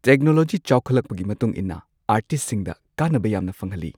Technology ꯆꯥꯎꯈꯠꯂꯛꯄꯒꯤ ꯃꯇꯨꯡ ꯏꯟꯅ ꯑꯥꯔꯇꯤꯁꯁꯤꯡꯗ ꯀꯥꯟꯅꯕ ꯌꯥꯝꯅ ꯐꯪꯍꯜꯂꯤ꯫